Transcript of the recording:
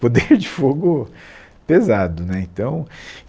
poder de fogo pesado né então